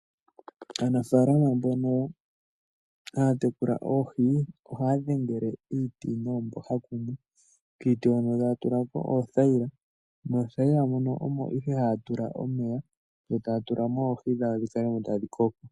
Aanafaalama mbono haya tekula oohi, ohaya dhengele iiti noomboha dhimwe, kiiti hono taya tula ko oothaila, moothaila mono omo ihe haya tula omeya, yo taya tula mooohi dhawo dhi kale tadhi koko.